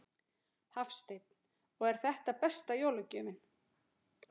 Hafsteinn: Og er þetta besta jólagjöfin?